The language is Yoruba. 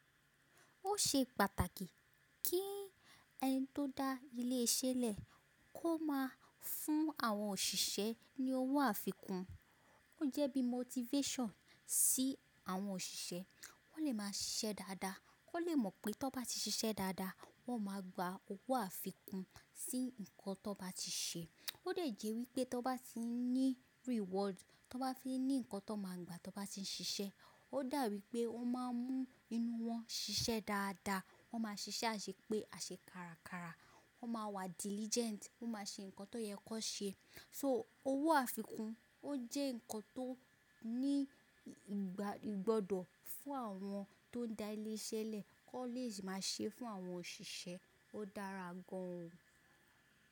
Ó ṣe pàtàkì kí ẹni tó n dá ilé iṣẹ́ lẹ̀ kó máa fún àwọn òṣìṣẹ́ ní owó àfikún, ó jẹ́ bí motivation sí àwọn òṣìṣẹ́. Wọ́n lè máa ṣiṣẹ́ dáadáa, kó lè mọ̀ pé tó bá ti ṣiṣẹ́ dáadáa, wọ́n máa gba owó àfikún sí nǹkan tó bá ti ṣe. Ó dè jẹ́ wípé tó bá ti ń ní reward, tó bá ti ń ní ǹkan tó máa gba tó bá ti ń ṣiṣẹ́, ó dà wípé ó máa ń mú inú wọn ṣiṣẹ́ dáadáa, wọ́n máa ṣiṣẹ́ àṣepé àṣẹ kárakára, wọ́n máa wà diligent, wọ́n máa ṣe ǹkan tó yẹ kó ṣe. So owó àfikún ó jẹ́ ǹkan tó ní ìgbọ́dọ̀ fún àwọn tó ń dá ilé iṣẹ́ lẹ̀ ki won lè máa ṣe fún àwọn òṣìṣẹ́, ó dára gan an.